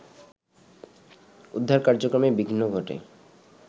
উদ্ধারকার্যক্রমে বিঘ্ন ঘটে